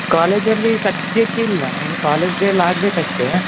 College ಲ್ಲಿ ಸದ್ಯಕ್ಕೆ ಇಲ್ಲ ಇನ್ನು college day ಎಲ್ಲ ಆಗಬೇಕ ಅಷ್ಟೇ